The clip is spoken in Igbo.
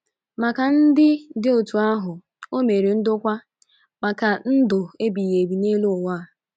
Maka ndị dị otú ahụ, o mere ndokwa maka ndụ ebighị ebi n’elu uwa.